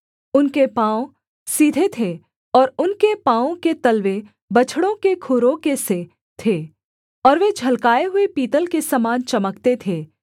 उनके पाँव सीधे थे और उनके पाँवों के तलवे बछड़ों के खुरों के से थे और वे झलकाए हुए पीतल के समान चमकते थे